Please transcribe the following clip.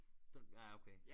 Ah okay